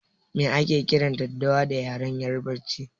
Me ake kiran daddawa da yaren yarbanci?